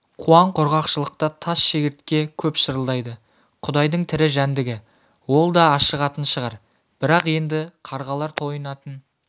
қуаң-құрғақшылықта тас шегіртке көп шырылдайды құдайдың тірі жәндігі ол да ашығатын шығар бірақ енді қарғалар тойынатын